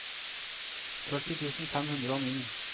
førti tusen fem hundre og ni